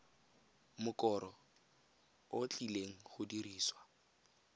mokoro o tlileng go dirisiwa